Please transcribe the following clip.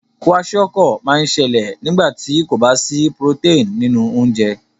Kwashiorkor má n sẹlẹ̀ nígbàtí kò ba sí protein nínú ounjẹ